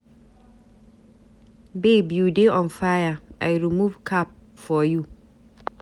Babe you dey on fire. I remove cap for you.